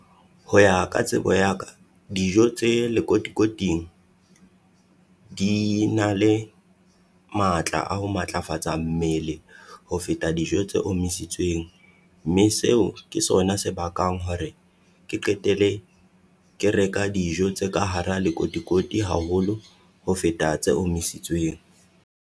Ho ya ka tsebo ya ka, dijo tse lekotikoting di na le matla a ho matlafatsa mmele ho feta dijo tse omisitsweng. Mme seo ke sona se bakang hore ke qetele ke reka dijo tse ka hara lekotikoti haholo ho feta tse omisitsweng.